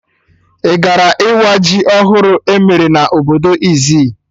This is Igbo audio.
Ị gara ịwa ji ọhụrụ emere na obodo Izzi?